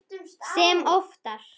Sem oftar.